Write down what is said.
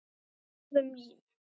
Hún verður mín.